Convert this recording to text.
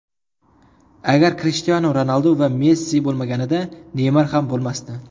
Agar Krishtianu Ronaldu va Messi bo‘lmaganida, Neymar ham bo‘lmasdi.